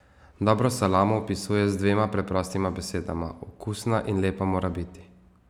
Dobro salamo opisuje z dvema preprostima besedama: 'Okusna in lepa mora biti.